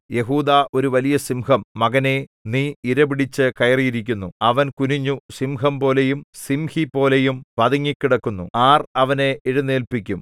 യെഹൂദാ ഒരു വലിയസിംഹം മകനേ നീ ഇരപിടിച്ചു കയറിയിരിക്കുന്നു അവൻ കുനിഞ്ഞു സിംഹംപോലെയും സിംഹിപോലെയും പതുങ്ങിക്കിടക്കുന്നു ആർ അവനെ എഴുന്നേല്പിക്കും